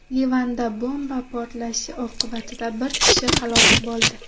Livanda bomba portlashi oqibatida bir kishi halok bo‘ldi.